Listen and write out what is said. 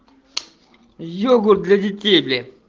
йогурт для детей